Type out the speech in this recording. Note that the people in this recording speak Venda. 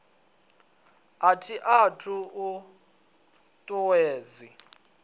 a i t ut uwedzi